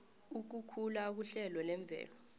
ukukhula kuhlelo lemvelo